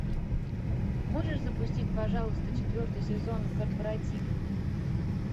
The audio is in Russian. можешь запустить пожалуйста четвертый сезон корпоратив